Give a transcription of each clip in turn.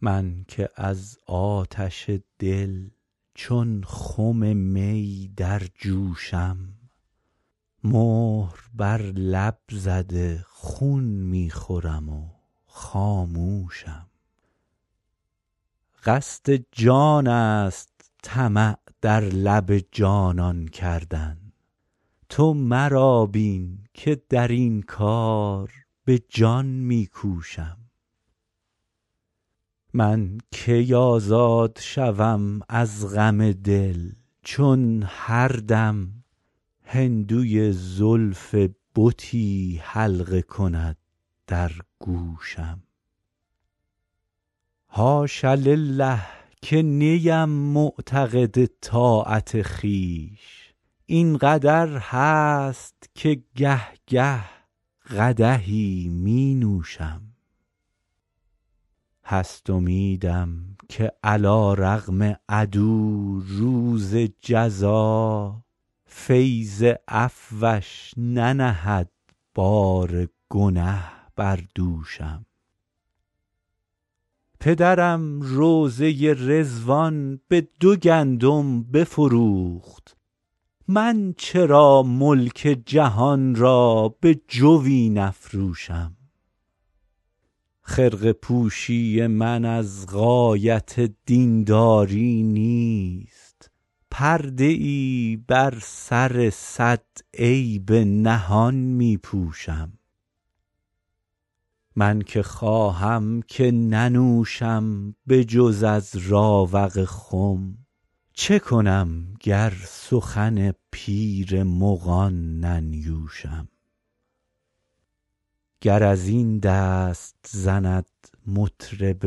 من که از آتش دل چون خم می در جوشم مهر بر لب زده خون می خورم و خاموشم قصد جان است طمع در لب جانان کردن تو مرا بین که در این کار به جان می کوشم من کی آزاد شوم از غم دل چون هر دم هندوی زلف بتی حلقه کند در گوشم حاش لله که نیم معتقد طاعت خویش این قدر هست که گه گه قدحی می نوشم هست امیدم که علیرغم عدو روز جزا فیض عفوش ننهد بار گنه بر دوشم پدرم روضه رضوان به دو گندم بفروخت من چرا ملک جهان را به جوی نفروشم خرقه پوشی من از غایت دین داری نیست پرده ای بر سر صد عیب نهان می پوشم من که خواهم که ننوشم به جز از راوق خم چه کنم گر سخن پیر مغان ننیوشم گر از این دست زند مطرب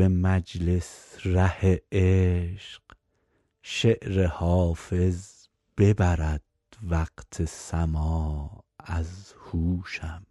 مجلس ره عشق شعر حافظ ببرد وقت سماع از هوشم